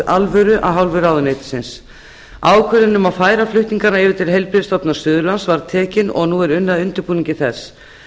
alvöru af hálfu ráðuneytisins ákvörðun um að færa flutningana yfir til heilbrigðisstofnun suðurlands var tekin og nú er unnið að undirbúningi þess